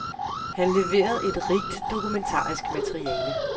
Han leverede et rigt dokumentarisk materiale.